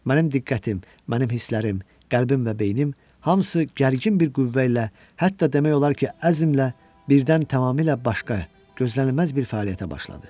Mənim diqqətim, mənim hisslərim, qəlbim və beynim hamısı gərgin bir qüvvə ilə, hətta demək olar ki, əzmlə birdən tamamilə başqa, gözlənilməz bir fəaliyyətə başladı.